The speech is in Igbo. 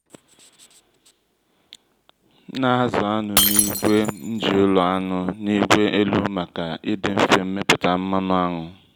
m nà-ázụ́ aṅụ́ n’ígwé m jí ụ́lọ́ aṅụ́ n’ígwé elu màkà idi mfé mmịpụta mmanụ aṅụ́.